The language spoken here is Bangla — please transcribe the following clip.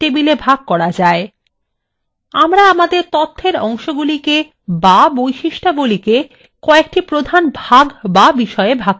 আমরা আমাদের তথ্যwe অংশগুলিকে বা বৈশিষ্ট্যাবলী কয়েকটি প্রধান ভাগ বা বিষয়ে ভাগ করে নেব